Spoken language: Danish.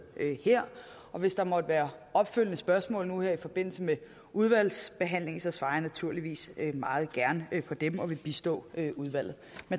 her hvis der måtte være opfølgende spørgsmål nu her i forbindelse med udvalgsbehandlingen svarer jeg naturligvis meget gerne på dem og vil bistå udvalget